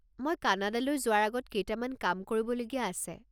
মই কানাডালৈ যোৱাৰ আগত কেইটামান কাম কৰিবলগীয়া আছে।